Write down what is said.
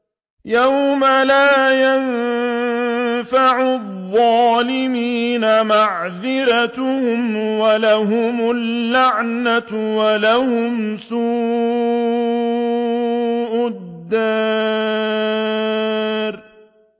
يَوْمَ لَا يَنفَعُ الظَّالِمِينَ مَعْذِرَتُهُمْ ۖ وَلَهُمُ اللَّعْنَةُ وَلَهُمْ سُوءُ الدَّارِ